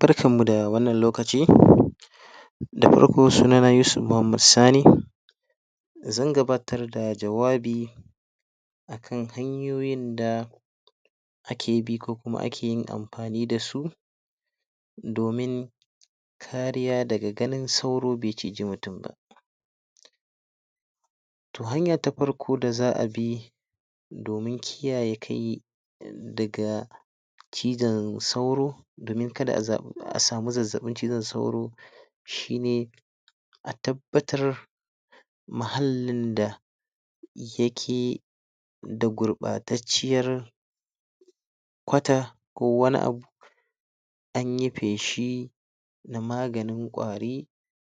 barkan mu da wannan lokaci, da farko suna na Yusuf Mohammed Sani zan gabatar da jawabi akan hanyoyin da ake bi ko kuma ake yi amfani da su domin kariya daga ganin sauro be ciji mutum ba toh hanya ta farko da za a bi domin kiyaye daga cizon sauro domin kada a za a samu zazzabin cizon sauro shi ne a tabbatar mahallin da ya ki da gubatarciyar quata ko wani abu an yipe shi na maganin kwari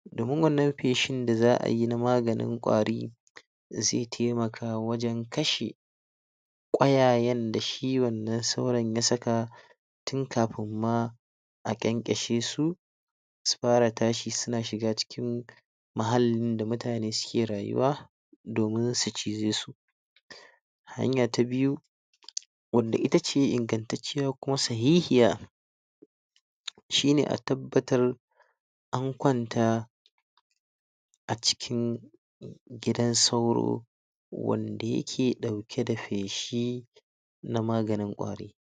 domin wannan peshi da za a yi na maganin kwari ze taimaka wajen kashe kwayayen da shi wannan sauron ya saka tun kafin ma a gankashe su su fara tashi suna shiga cikin mahallin da mutani suke rayuwa domin su cije su. Hanya ta biyu, wanda ita ce inganttace kuma shi ne a tabbatar an kwanta a cikin gidan sauro wanda yake dauke da peshi na maganin kwari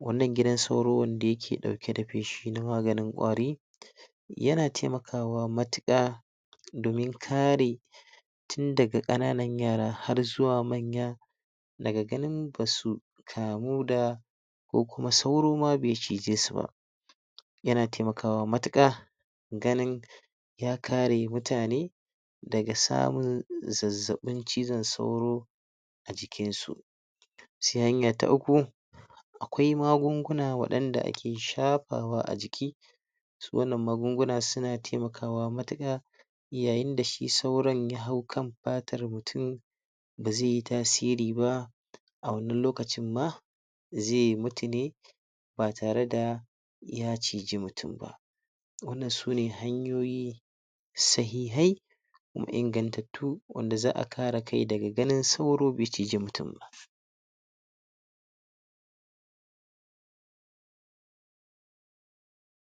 wannan gidan suro wanda yake peshi da maganin kwari yana taimakawa matuka domin karin tun daga kananan yara har zuwa manya daga ganin basu kamu da ko kuma sauro ma be cije su ba. yana taimakawa matuka ganin ya kare mutane daga samun zazzabin cizon sauro a jikin su. Sai hanya ta uku, akwai magunguna wadanda ake shafawa a jiki, wannan magunguna suna taimakawa matuka yayin da shi sauron ya hau kan patar mutum ba ze yi tasiri ba a wannan lokacin ma ze mutu ne ba tare da ya ciji mutum ba wannan sune hanyoyi sahihai